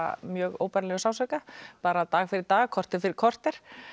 mjög óbærilegum sársauka bara dag fyrir dag korter fyrir korter